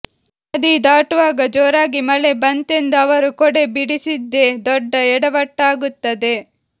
ನದಿದಾಟುವಾಗ ಜೋರಾಗಿ ಮಳೆ ಬಂತೆಂದು ಅವರು ಕೊಡೆ ಬಿಡಿಸಿದ್ದೇ ದೊಡ್ಡ ಎಡವಟ್ಟಾಗುತ್ತದೆ